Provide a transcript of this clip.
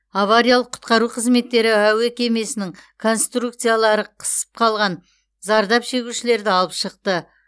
авариялық құтқару қызметтері әуе кемесінің конструкциялары қысып қалған зардап шегушілерді алып шықты